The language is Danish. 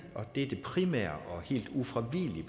og det er det primære og helt ufravigelige